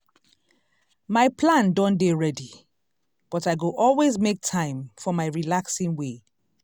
my plan don dey ready but i go always make time for my relaxing way.